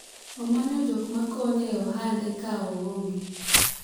omanyo jok makonye e ohande ka oonge